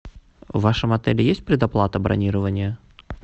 в вашем отеле есть предоплата бронирования